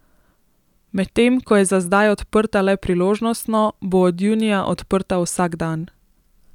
Medtem ko je za zdaj odprta le priložnostno, bo od junija odprta vsak dan.